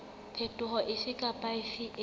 phetoho efe kapa efe e